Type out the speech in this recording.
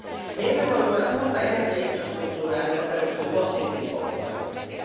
Me emme voi luoda uutta energiainfrastruktuuria, joka perustuu fossiilisiin polttoaineisiin.